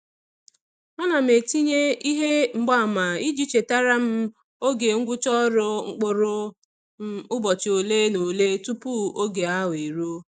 Ana etinye ihe mgbaama iji chetara m oge ngwụcha ọrụ mkpụrụ um ụbọchị ole na ole tupu oge ahụ eruo.